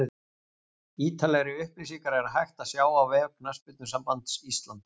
Ítarlegri upplýsingar er hægt að sjá á vef Knattspyrnusambands Íslands.